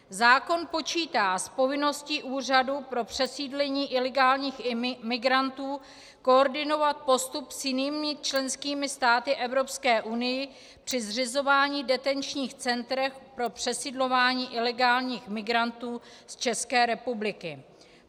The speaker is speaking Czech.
Zákon počítá s povinností úřadu pro přesídlení ilegálních migrantů koordinovat postup s jinými členskými státy Evropské unie při zřizování detenčních center pro přesidlování ilegálních migrantů z České republiky.